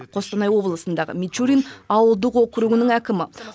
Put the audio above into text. қостанай облысындағы мичурин ауылдық округінің әкімі